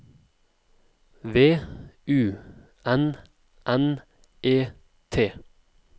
V U N N E T